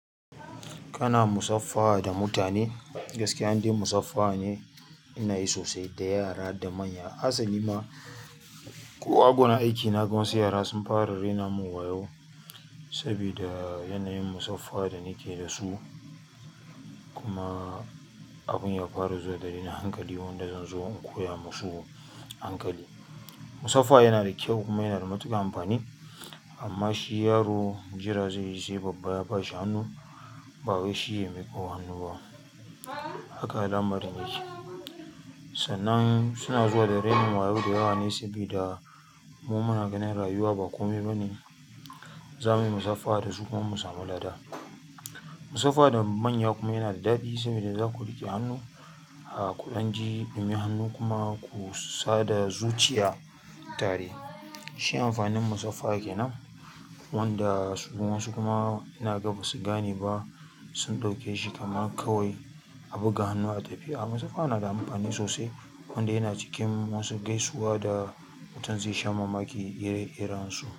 Kana musafaha da mutane, gaskiya anda musafaha ne ina yi sosai da yara da manya. Hasali ma ko a gun aiki na gan wasu yara sun fara raina mun wayo saboda yanayin musafaha da nakeyi da su. Kuma abun ya fara zuwa dalilin hankali wanda zan zo in koya musu hankali. Musafaha yana da kyau kuma yana da matuƙar amfani amma shi yaro jira zai yi sai babba ya bashi hannu, babm wai shi ya miƙo hannu ba. Haka alamarin yake. Sannan suna zuwa da raini wayo da yawa ne saboda mu muna ganin rayuwa ba komai bane, za muyi musafaha da su kuma mu samu lada. Musafaha da manya kuma yanada daɗi sabida zaku riƙe hannu, kudanji a domin hannu kuma ku sada zuciya tare. Shi amfanin musafaha kenan wanda wasu kuma ina ga ba su gane ba sun ɗauke shi kamar kawai a buga hannu a tafi. Musafaha nada amfani sosai wanda yana cikin wasu gaisuwa da mutun zaisha mamaki ire irensu.